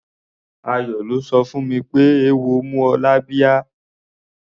Ayọ̀ ló sọ fún mi pé eéwo mú ọ lábíá.